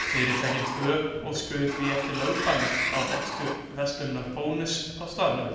Fyrirtækin tvö óskuðu því eftir lögbanni á rekstur verslunar Bónuss á staðnum.